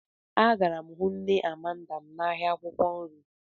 Agara m hụ nne Amanda m n'ahịa akwụkwọ nri.